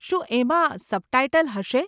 શું એમાં સબટાઈટલ હશે?